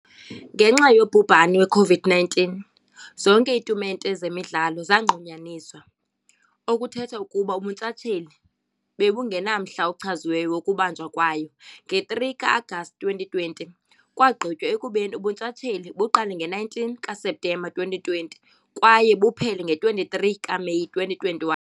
Ngenxa yobhubhani we-COVID-19, zonke iitumente zemidlalo zanqunyanyiswa, okuthetha ukuba ubuntshatsheli bebungenamhla ochaziweyo wokubanjwa kwayo. Nge-3 ka-Agasti 2020, kwagqitywa ekubeni ubuntshatsheli buqale nge-19 kaSeptemba 2020 kwaye buphele nge-23 kaMeyi 2021.